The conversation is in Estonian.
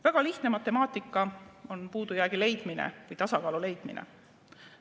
Väga lihtne matemaatika on puudujäägi leidmine või tasakaalu leidmine.